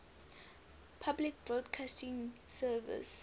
public broadcasting service